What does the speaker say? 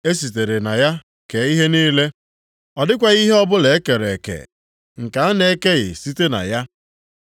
E sitere na ya kee ihe niile, ọ dịghịkwa ihe ọbụla e kere eke nke a na-ekeghị site na ya.